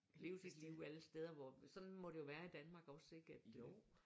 Leve sit liv alle steder hvor sådan må det jo være i Danmark også ik at øh